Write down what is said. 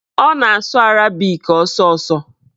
Ọ na-asụ arabik ọsọọsọ